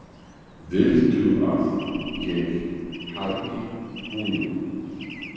Viltu að ég hjálpi honum?